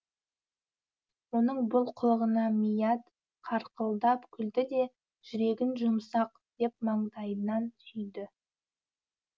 оның бұл қылығына мият қарқылдап күлді де жүрегің жұмсақ деп маңдайынан сүйді